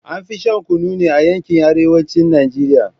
An fi shan Kunu ne a yankin arewacin Najeriya